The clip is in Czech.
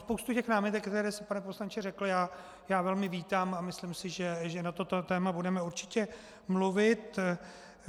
Spoustu těch námitek, které jste, pane poslanče, řekl, já velmi vítám a myslím si, že na toto téma budeme určitě mluvit.